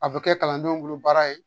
A bɛ kɛ kalandenw bolo baara ye